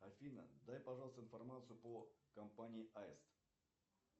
афина дай пожалуйста информацию по компании аист